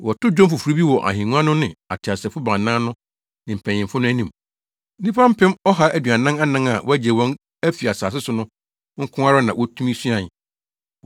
Wɔtoo dwom foforo bi wɔ ahengua no ne ateasefo baanan no ne mpanyimfo no anim. Nnipa mpem ɔha aduanan anan a wɔagye wɔn afi asase so no nko ara na wotumi suae.